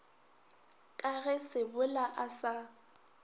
ka ge sebola a sa